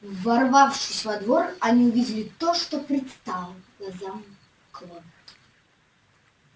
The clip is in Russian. ворвавшись во двор они увидели то что предстало глазам кловер